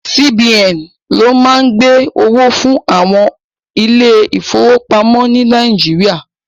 CBN ni o má ń gbẹ́ owó fún àwọn ilé ìfọwọ́pamo ni Nàíjíríà.